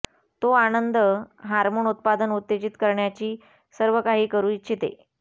तो आनंद हार्मोन उत्पादन उत्तेजित करण्याची सर्वकाही करू इच्छिते